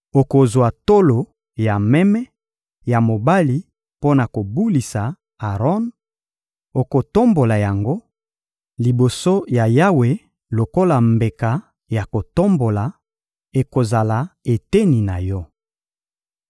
Okozwa tolo ya meme ya mobali mpo na kobulisa Aron, okotombola yango liboso ya Yawe lokola mbeka ya kotombola; ekozala eteni na yo.